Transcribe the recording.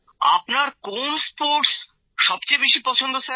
আপনার কোন খেলা সবচেয়ে বেশি পছন্দ